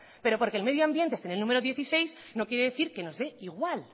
pero porque el medio ambiente esté en el número dieciséis no quiere decir que nos dé igual